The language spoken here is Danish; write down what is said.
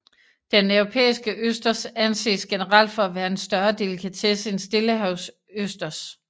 Den europæiske østers anses generelt for at være en større delikatesse end stillehavsøsters